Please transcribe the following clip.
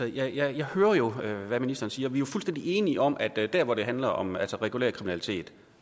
jeg hører jo hvad ministeren siger og vi er fuldstændig enige om at der hvor det handler om regulær kriminalitet